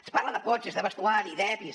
es parla de cotxes de vestuari d’epis